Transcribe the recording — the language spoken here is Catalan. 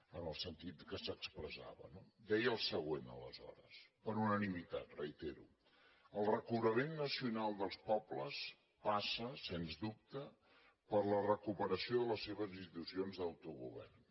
en el sentit que s’expressava no deia el següent aleshores per unanimitat ho reitero el recobrament nacional dels pobles passa sens dubte per la recuperació de les seves institucions d’autogovern